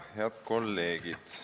Head kolleegid!